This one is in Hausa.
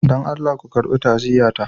Dan Allah ku karɓi ta'aziyyata.